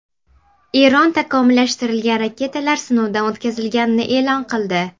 Eron takomillashtirilgan raketalar sinovdan o‘tkazilganini e’lon qildi.